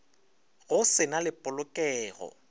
go se na le polokelo